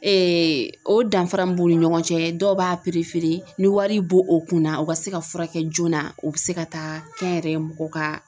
o danfara min b'u ni ɲɔgɔn cɛ dɔw b'a ni wari bo o kunna o ka se ka fura kɛ joona o bɛ se ka taa kɛnyɛrɛye mɔgɔ ka